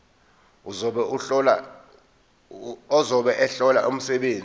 ozobe ehlola umsebenzi